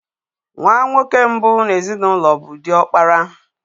Nwa nwoke mbụ n'ezinụlọ bụ diokpara.